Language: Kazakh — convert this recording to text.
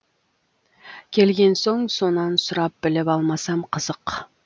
келген соң сонан сұрап біліп алмасам қызық